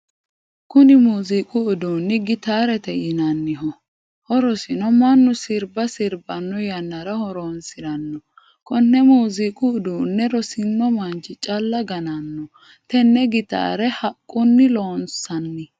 Kunni muuziiqu uduunni gitaarete yinnanniho. Horosino mannu sirba sibanno yannara horoonsirano. Kunne muuziiqu uduunne rosino manchi calla gannano. Tenne gitaare haqunni loonsanni.